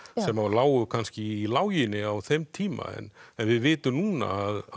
sem lágu kannski í láginni á þeim tíma en við vitum núna